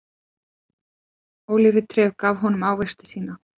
Ólífutréð gaf honum ávexti sína.